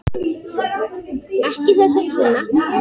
Ekki þessa tóna!